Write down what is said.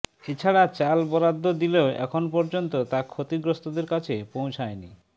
এছাড়া চাল বরাদ্দ দিলেও এখন পর্যন্ত তা ক্ষতিগ্রস্তদের কাছে পৌঁছায়নি